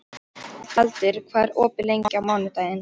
Tjaldur, hvað er opið lengi á mánudaginn?